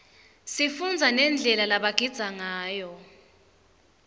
sifundza nendlela lebagidza ngayo